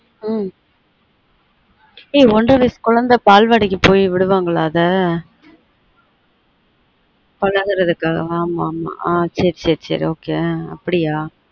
அஹ் ஏய் ஒன்ற வயசு குழந்தை பால்வாடிக்கு போய் விடுவாங்கலா அத பழகுறதுக்கா ஆமா ஆமா ஆன் சேரி சேரி ok அப்பிடியா